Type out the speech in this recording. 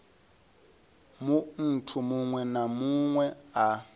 munthu muṅwe na muṅwe a